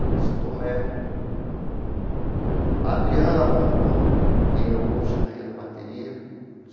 a Luiza Tomé, a Adriana Bombom, que é hoje a rainha da bateria.